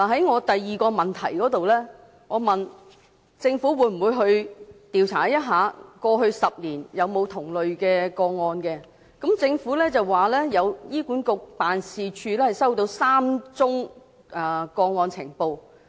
我在質詢的第二部分，問政府會否調查過去10年有否出現同類的個案，政府表示醫管局總辦事處收到3宗個案呈報。